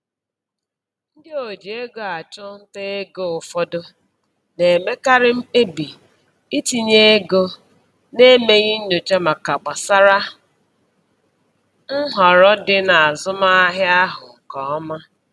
Ndị oji ego achụnta ego ụfọdụ na-emekarị mkpebi itinye ego na-emeghị nnyocha maka gbasara n*họrọ dị n'azụmahịa ahụ nke ọma